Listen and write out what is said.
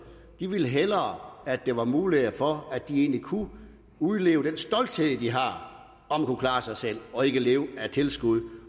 de vil hellere at der var muligheder for at de kunne udleve den stolthed de har om at kunne klare sig selv og ikke leve af tilskud